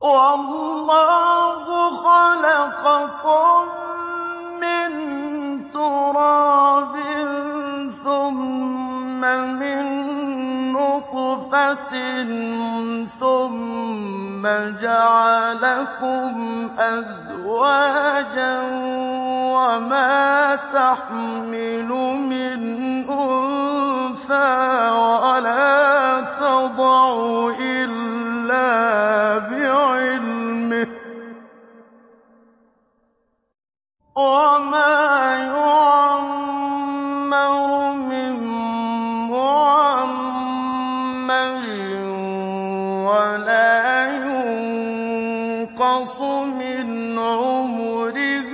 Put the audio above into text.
وَاللَّهُ خَلَقَكُم مِّن تُرَابٍ ثُمَّ مِن نُّطْفَةٍ ثُمَّ جَعَلَكُمْ أَزْوَاجًا ۚ وَمَا تَحْمِلُ مِنْ أُنثَىٰ وَلَا تَضَعُ إِلَّا بِعِلْمِهِ ۚ وَمَا يُعَمَّرُ مِن مُّعَمَّرٍ وَلَا يُنقَصُ مِنْ عُمُرِهِ